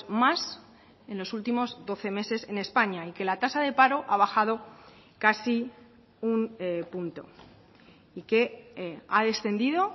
más en los últimos doce meses en españa y que la tasa de paro ha bajado casi un punto y que ha descendido